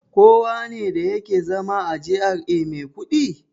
Kowane da yake zama a GRA mai kuɗi?